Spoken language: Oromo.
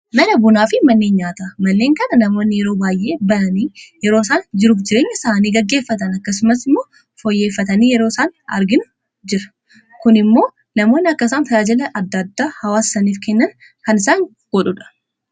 Mana bunaa fi manneen nyaata, manneen kana namoonni yeroo baay'ee bananii yeroo isaan jiru fi jireenya isaanii gaggeeffatan akkasumas immoo foyyeeffatanii yeroo isaan arginu jira. Kun immoo namoonni akka isaan tajaajila adda addaa hawaasa isaniif kennan kan isaan godhuudha.